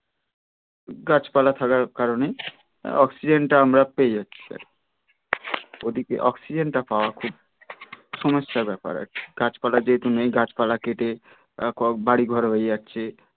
গাছপালা থাকার কারণে অক্সিজেন টা আমরা পেয়ে যাচ্ছি ওদিকে অক্সিজেন টা পাওয়া খুব সমস্যার ব্যাপার আর কি গাছপালা যেহেতু নেই গাছপালা কেটে তারপর বাড়িঘর হয়ে গেছে